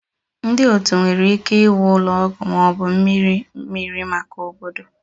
Ndị otu nwere ike iwu ụlọ ọgwụ ma ọ bụ mmiri mmiri maka obodo